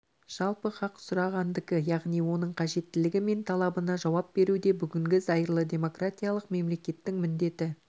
жалпы хақ сұрағандыкі яғни оның қажеттілігі мен талабына жауап беру де бүгінгі зайырлы демократиялық мемлекеттің міндеті